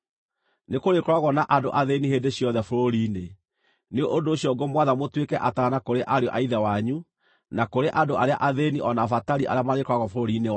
Nĩkũrĩkoragwo na andũ athĩĩni hĩndĩ ciothe bũrũri-inĩ. Nĩ ũndũ ũcio ngũmwatha mũtuĩke ataana kũrĩ ariũ a ithe wanyu, na kũrĩ andũ arĩa athĩĩni o na abatari arĩa marĩkoragwo bũrũri-inĩ wanyu.